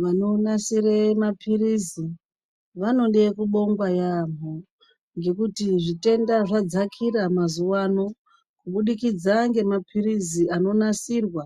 Vanonasire mapirizi vanode kubongwa yamo, ngekuti zvitenda zvadzakira mazuva ano kubudikidza ngemapirizi anonasirwa